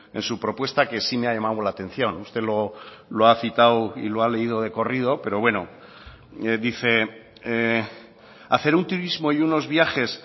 en su propuesta que sí me ha llamado la atención usted lo ha citado y lo ha leído de corrido pero bueno dice hacer un turismo y unos viajes